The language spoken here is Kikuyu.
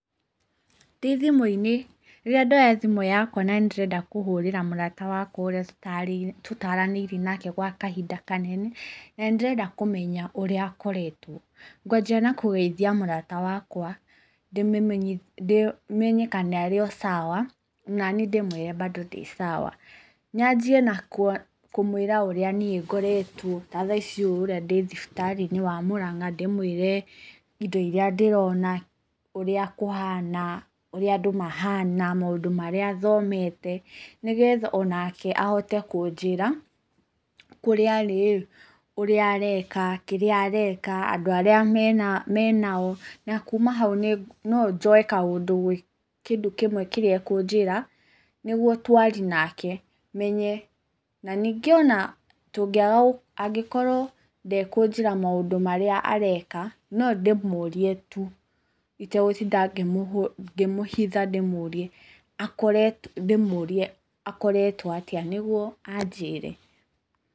Ndĩ thimũ-inĩ, rĩrĩa ndoya thimũ yakwa na nĩndĩrenda kũhũrĩra mũrata wakwa ũrĩa tũtaranĩirie nake kwa kahinda kanene, na nĩndĩrenda kũmenya ũrĩa akoretwo, ngwanjia na kũgeithia mũrata wakwa, menye kana arĩo cawa, naniĩ ndĩmwĩre mbandũ ndĩ cawa. Nyanjie na kũmwĩra ũrĩa niĩ ngoretwo, ta thaa ici ũũ ũrĩa ndĩ thibitarĩ-inĩ wa Mũrang'a, ndĩmwĩre indo iria ndĩrona, ũrĩa kũhana, ũrĩa andũ mahana, maũndũ marĩa thomete, nĩgetha onake ahote kũnjĩra, kũrĩa arĩĩ, ũrĩa areka, kĩrĩa areka, andũ arĩa menao, na kuma hau nonjoe kaũndũ gwĩ kĩndũ kĩmwe kĩra ekũnjĩra, nĩguo twarie nake, menye. Na ningĩ ona tũngĩaga, angĩkorwo ndekũnjĩra maũndũ marĩa areka, nondĩmũrie tu itegũtinda ngĩmũhitha ndĩmũrie akoretwo atĩa, nĩguo anjĩre.